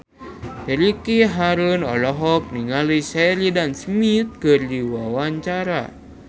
Ricky Harun olohok ningali Sheridan Smith keur diwawancara